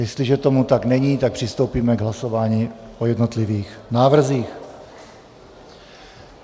Jestliže tomu tak není, tak přistoupíme k hlasování o jednotlivých návrzích.